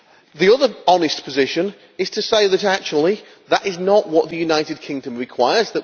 The other honest position is to say that actually, that is not what the United Kingdom requires